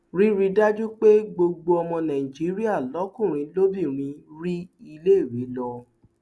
rírí i dájú pé gbogbo ọmọ nàìjíríà lọkùnrin lóbìnrin rí iléèwé lọ